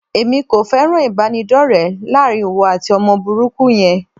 Èmi kò fẹ́ràn ìbánidọ́rẹ láàrin ìwọ àti ọmọ burúkú yẹn.